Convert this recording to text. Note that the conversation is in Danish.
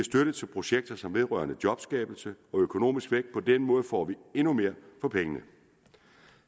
støtte til projekter som vedrører jobskabelse og økonomisk vækst på den måde får vi endnu mere for pengene